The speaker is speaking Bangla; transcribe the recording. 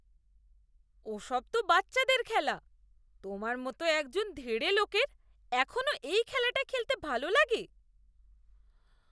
ওসব তো বাচ্চাদের খেলা। তোমার মতো একজন ধেড়ে লোকের এখনো এই খেলাটা খেলতে ভালো লাগে?